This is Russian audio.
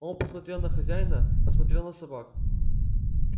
он посмотрел на хозяина посмотрел на собак